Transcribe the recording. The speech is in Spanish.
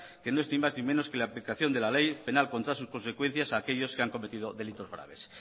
que no es ni más ni menos que la aplicación de la ley penal contra sus consecuencias a aquellos que han cometido delitos graves